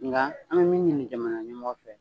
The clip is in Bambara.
Nka an bɛ min ɲini jamana ɲɛmɔkɔ fɛ.